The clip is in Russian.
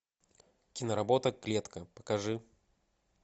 киноработа клетка покажи